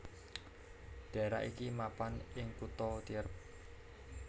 Dhaerah iki mapan ing kutha Tierp